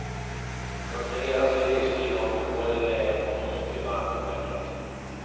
Under hela sin livstid har fotbollen legat honom mycket varmt om hjärtat.